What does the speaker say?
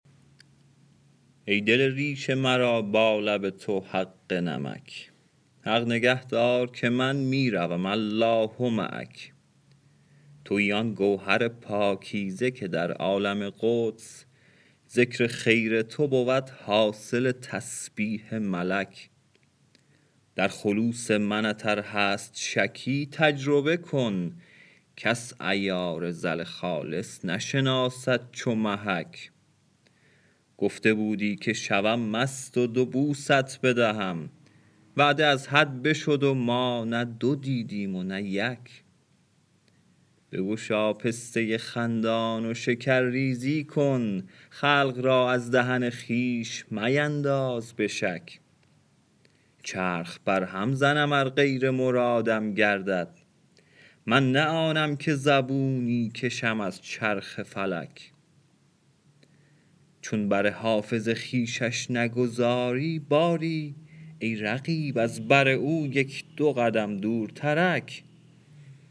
ای دل ریش مرا با لب تو حق نمک حق نگه دار که من می روم الله معک تویی آن گوهر پاکیزه که در عالم قدس ذکر خیر تو بود حاصل تسبیح ملک در خلوص منت ار هست شکی تجربه کن کس عیار زر خالص نشناسد چو محک گفته بودی که شوم مست و دو بوست بدهم وعده از حد بشد و ما نه دو دیدیم و نه یک بگشا پسته خندان و شکرریزی کن خلق را از دهن خویش مینداز به شک چرخ برهم زنم ار غیر مرادم گردد من نه آنم که زبونی کشم از چرخ فلک چون بر حافظ خویشش نگذاری باری ای رقیب از بر او یک دو قدم دورترک